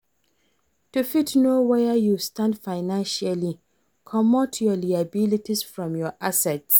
To fit know where you stand financially, comot your liabilities from your assets